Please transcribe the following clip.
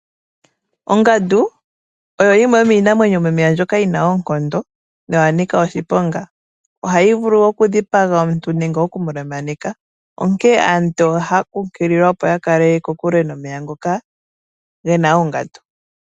Ongandu oyo yimwe yomiinamwenyo yomomeya mbyoka yi na oonkondo noya nika oshiponga. Ohayi vulu okudhipaga omuntu nenge okulemaneka onkene aantu oha ya kunkulilwa opo ya kale kokule nomeya ngoka ge na oongandu.